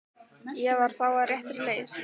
Ég var þá á réttri leið!